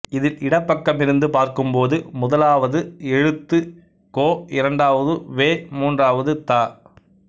இதில் இடப்பக்கமிருந்து பார்க்கும்போது முதலாவது எழுத்து கோ இரண்டாவது வே மூன்றாவது த